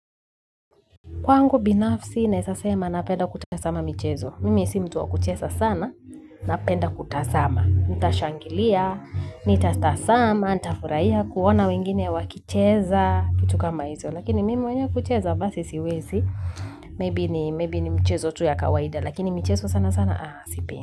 Kwangu binafsi, naweza sema napenda kutazama michezo. Mimi si mtu wa kucheza sana, napenda kutazama. Nitashangilia, nita tazama, nita furahia kuona wengine wakicheza, kitu kama hizo. Lakini mimi mwenyewe kucheza, basi siwezi. Maybe ni michezo tu ya kawaida. Lakini michezo sana sana, aa, sipendi.